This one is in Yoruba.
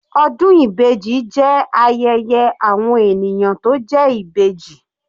Ọdún ibeji jẹ́ ayẹyẹ àwọn ènìyàn tó jẹ́ Ìbejì.